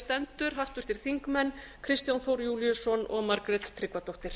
stendur háttvirtir þingmenn kristján þór júlíusson og margrét tryggvadóttir